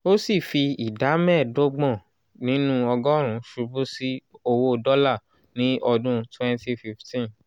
ó sì fi ìdá mẹ́ẹ̀ẹ́dọ́gbọ̀n nínú ọgọ́rùn-ún ṣubú sí owó dọ́là ní ọdún 2015.